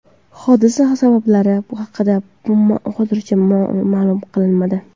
Hodisa sabablari haqida hozircha ma’lum qilinmadi.